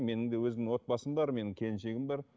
менің де өзімнің отбасым бар менің келіншегім бар